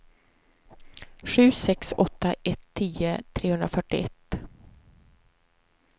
sju sex åtta ett tio trehundrafyrtioett